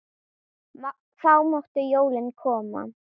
Þá máttu jólin koma.